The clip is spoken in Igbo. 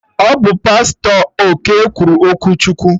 Ọ bụ Pastọ Okey kwuru okwu Chukwu